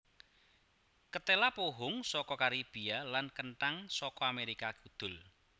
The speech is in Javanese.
Ketéla pohung saka Karibia lan kenthang saka Amérika Kudul